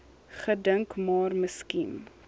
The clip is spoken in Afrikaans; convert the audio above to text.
gedink maar miskien